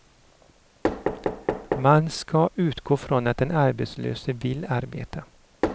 Man ska utgå ifrån att den arbetslöse vill arbeta.